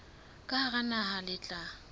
ka hara naha le tla